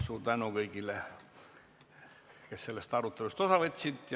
Suur tänu kõigile, kes sellest arutelust osa võtsid!